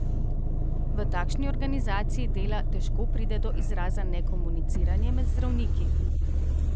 V takšni organizaciji dela težko pride do izraza nekomuniciranje med zdravniki.